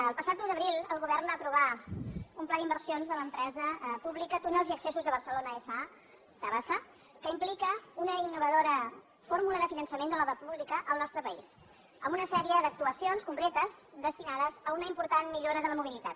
el passat un d’abril el govern va aprovar un pla d’inversions de l’empresa pública túnels i accessos de barcelona sa tabasa que implica una innovadora fórmula de finançament de l’obra pública al nostre país amb una sèrie d’actuacions concretes destinades a una important millora de la mobilitat